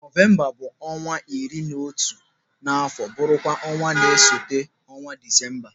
Nọvemba bụ ọnwa iri na otu n'afọ m bụrụ kwa ọnwa na-esote ọnwa Disemba.